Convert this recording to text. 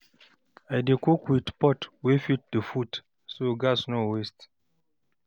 I dey cook with pot wey fit the food, so gas no go waste.